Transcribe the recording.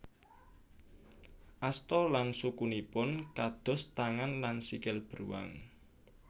Asta lan sukunipun kados tangan lan sikil beruang